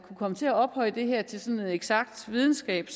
kunne komme til at ophøje det her til sådan en eksakt videnskab